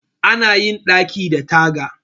Ana yin ɗaki da taga